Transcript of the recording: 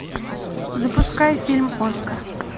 запускай фильм оскар